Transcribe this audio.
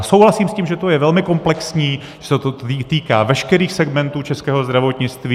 A souhlasím s tím, že to je velmi komplexní, že se to týká veškerých segmentů českého zdravotnictví.